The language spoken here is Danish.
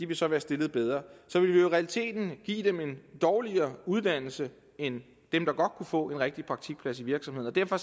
vil så være stillet bedre og så ville vi i realiteten giver dem en dårligere uddannelse end dem der godt kunne få en rigtig praktikplads i virksomhederne derfor